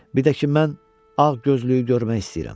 Bircə ki, mən ağ gözlüyü görmək istəyirəm.